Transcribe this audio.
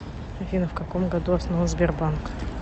афина в каком году основан сбербанк